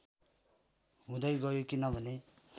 हुँदै गयो किनभने